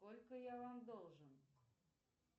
сколько я вам должен